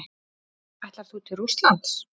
Ætlar þú til Rússlands?